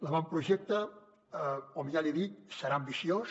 l’avantprojecte com ja li he dit serà ambiciós